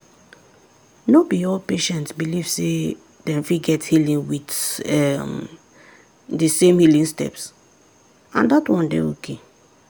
no be all patient belief sey dem fit get healing with um the same healing steps and that one dey okay.